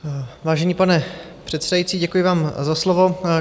Vážený pane předsedající, děkuji vám za slovo.